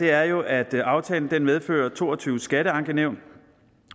er jo at aftalen medfører to og tyve skatteankenævn